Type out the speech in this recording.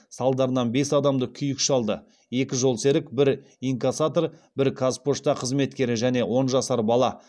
салдарынан бес адамды күйік шалды екі жолсерік бір инкассатор бір қазпошта қызметкері және он жасар бала